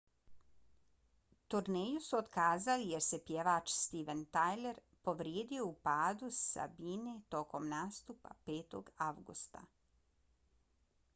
turneju su otkazali jer se pjevač steven tyler povrijedio u padu s bine tokom nastupa 5. avgusta